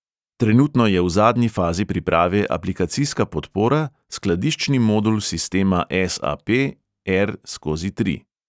Trenutno je v zadnji fazi priprave aplikacijska podpora, skladiščni modul sistema es|a|pe er| skozi tri.